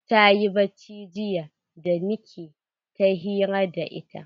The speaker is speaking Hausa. Tayi bacci jiya da nike ta hira da ita.